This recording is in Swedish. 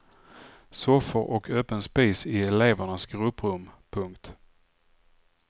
Soffor och öppen spis i elevernas grupprum. punkt